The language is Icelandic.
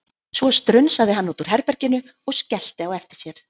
Svo strunsaði hann út úr herbeginu og skellti á eftir sér.